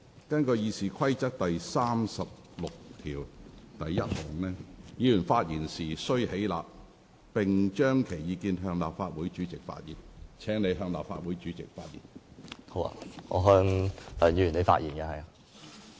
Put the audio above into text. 根據《議事規則》第361條，議員發言時須起立，並須將其意見向立法會主席陳述，請你向立法會主席發言。